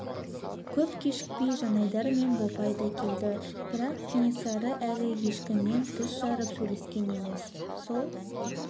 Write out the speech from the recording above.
көп кешікпей жанайдар мен бопай да келді бірақ кенесары әлі ешкіммен тіс жарып сөйлескен емес сол